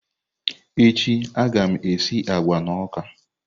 Echi a ga m esi agwa na ọka.